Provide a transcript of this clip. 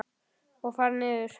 Og fara norður.